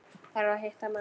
Þarf að hitta mann.